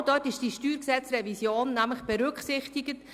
Genau in diesem ist die StG-Revision berücksichtigt.